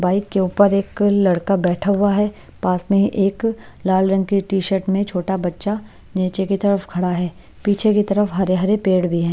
Bike के ऊपर एक लड़का बैठा हुआ है पास में एक लाल रंग की टी-शर्ट में छोटा बच्चा नीचे की तरफ खड़ा है पीछे की तरफ हरे-हरे पेड़ भी हैं।